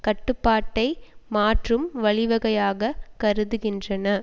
கட்டுப்பாட்டை மாற்றும் வழிவகையாக கருதுகின்றன